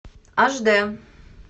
аш дэ